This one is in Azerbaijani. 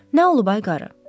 Nə olub ay qarı?